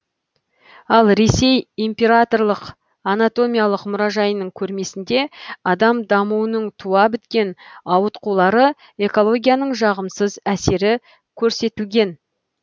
ал ресей императорлық анатомиялық мұражайының көрмесінде адам дамуының туа біткен ауытқулары экологияның жағымсыз әсері көрсетілген